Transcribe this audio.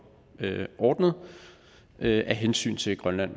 ordnet af hensyn til grønland